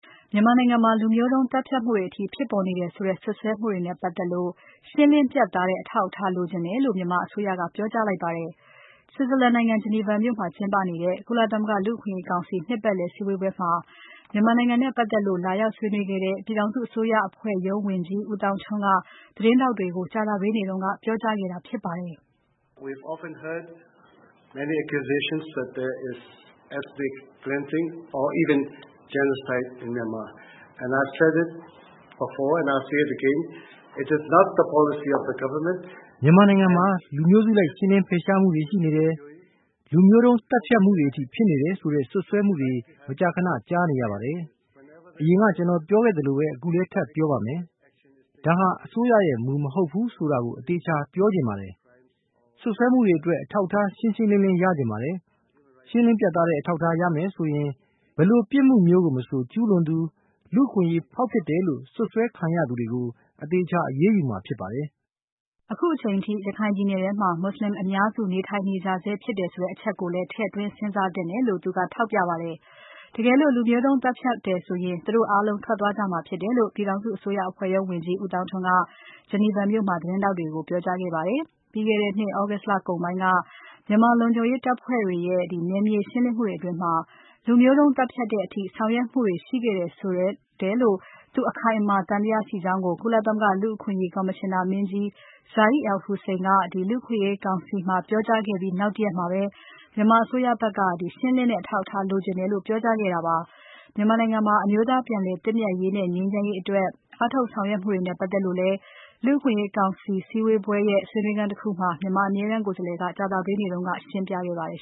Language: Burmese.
မြန်မာနိုင်ငံမှာ လူမျိုးတုန်းသတ်ဖြတ်မှုတွေအထိ ဖြစ်ပေါ်နေတယ်ဆိုတဲ့ စွပ်စွဲမှုတွေနဲ့ ပါတ်သက်လို့ ရှင်းလင်းပြတ်သားတဲ့အထောက်အထား လိုချင်တယ်လို့ မြန်မာအစိုးရက ပြောကြားလိုက်ပါတယ်။ Switzerland နိုင်ငံ Geneva မြို့မှာကျင်းပနေတဲ့ ကုလသမဂ္ဂလူ့အခွင့်အရေးကောင်စီ နှစ်ပါတ်လည်စည်းဝေးပွဲမှာ မြန်မာနိုင်ငံ နဲ့ပါတ်သက်လို့ လာရောက်ဆွေးနွေးခဲ့တဲ့ ပြည်ထောင်စုအစိုးရအဖွဲ့ရုံးဝန်ကြီး ဦးသောင်းထွန်းက သတင်းထောက်တွေကို ကြာသပတေးနေ့က ပြောကြားခဲ့တာဖြစ်ပါတယ်။ "မြန်မာနိုင်ငံမှာ လူမျိုးစုလိုက်ရှင်းလင်းဖယ်ရှားမှုတွေရှိနေတယ်။ လူမျိုးုတုန်း သတ်ဖြတ်မှုတွေအထိဖြစ်နေတယ်ဆိုတဲ့ စွပ်စွဲမှုတွေ မကြာခဏကြားနေရပါတယ်။ အရင်ကကျွန်တော်ပြောခဲ့သလိုပဲ ခုလဲထပ်ပြောပါမယ်။ ဒါဟာအစိုးရရဲ့ မူမဟုတ်ပါဘူးဆိုတာကို အသေအချာပြောချင်ပါတယ်။ စွပ်စွဲမှုတွေအတွက် အထောက်အထား ရှင်းရှင်းလင်းလင်း ရချင်ပါတယ်။ ရှင်းလင်းပြတ်သားတဲ့ အထောက်အထား ရတယ်ဆိုရင် ဘယ်လိုပြစ်မှုမျိုးကိုမဆို ကျူးလွန်သူ။ လူ့အခွင့်အရေးချိုးဖောက်တယ်လို့စွပ်စွဲခံရသူတွေကို အသေအချာ အရေးယူမှာဖြစ်ပါတယ်။" အခုအချိန်အထိ ရခိုင်ပြည်နယ်ထဲမှာ မွတ်ဆလင်အများစု နေထိုင်နေကြဆဲဖြစ်တယ် ဆိုတဲ့အချက်ကိုလည်း ထည့်သွင်းစဉ်းစားသင့်တယ်လို့လည်း သူက ထောက်ပြပါတယ်။ တကယ်လို့ လူမျိုးတုန်းသတ်ဖြတ်တယ်ဆိုရင် သူတို့အားလုံးထွက်သွားကြမှာဖြစ်တယ်လို့ ပြည်ထောင်စု အစိုးရအဖွဲ့ရုံးဝန်ကြီး ဦးသောင်းထွန်းက Geneva မြို့မှာ သတင်းထောက်တွေကို ပြောကြားခဲ့ပါတယ်။ ပြီးခဲ့တဲ့နှစ် August လကုန်ပိုင်းက မြန်မာလုံခြုံရေးတပ်ဖွဲ့တွေရဲ့ နယ်မြေရှင်းလင်းမှုတွေ အတွင်း လူမျိုးတုန်းသတ်ဖြတ်တဲ့အထိ ဆောင်ရွက်မှုတွေရှိခဲ့တယ်လို့ သူအခိုင်အမာ သံသယကြောင်း ကုလသမဂ္ဂလူ့အခွင့်အရေး ကော်မရှင်နာမင်းကြီး Zeid Ra'ad al-Hussein က လူ့အခွင့်အရေးကောင်စီမှာ ပြောကြားခဲ့ပြီး နောက်တရက်မှာပဲ မြန်မာအစိုးရဖက်က ရှင်းလင်းတဲ့ အထောက်အထားလိုချင်တယ်လို့ ပြောကြားခဲ့တာဖြစ်ပါတယ်။ မြန်မာနိုင်ငံမှာ အမျိုးသားပြန်လည်သင့်မြတ်ရေးနဲ့ ငြိမ်းချမ်းရေးအတွက် အားထုတ်ဆောင်ရွက်မှုတွေနဲ့ပါတ်သက်လို့လည်း လူ့အခွင့်အရေးကောင်စီစည်းဝေးပွဲရဲ့ ဆွေးနွေးခန်းတခုမှာ မြန်မာအမြဲတမ်းကိုယ်စားလှယ်က ကြာသပတေးနေ့က ရှင်းပြခဲ့ပါတယ်